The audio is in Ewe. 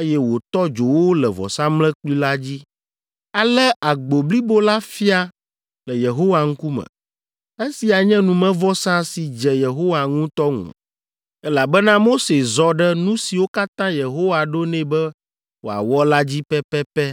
eye wòtɔ dzo wo le vɔsamlekpui la dzi. Ale agbo blibo la fia le Yehowa ŋkume. Esia nye numevɔsa si dze Yehowa ŋu ŋutɔ, elabena Mose zɔ ɖe nu siwo katã Yehowa ɖo nɛ be wòawɔ la dzi pɛpɛpɛ.